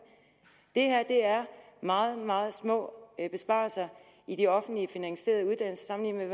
det her er meget meget små besparelser i de offentligt finansierede uddannelser sammenlignet